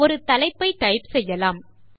ஒரு தலைப்பை டைப் செய்யலாம்